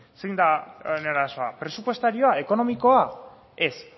zein da honen arazoa presupuestarioa ekonomikoa ez